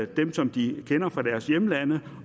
dem som de kender fra deres hjemlande